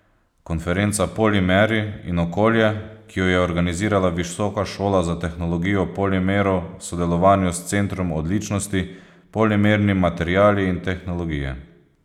Konferenca Polimeri in okolje, ki jo je organizirala Visoka šola za tehnologijo polimerov v sodelovanju s centrom odličnosti Polimerni materiali in tehnologije.